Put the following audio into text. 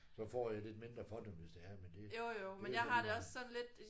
Så får jeg lidt mindre for dem hvis det er men det det er lige meget